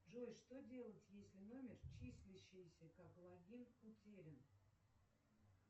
джой что делать если номер числящийся как логин утерян